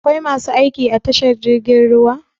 Akwai masu aiki a tashar jirgin ruwa?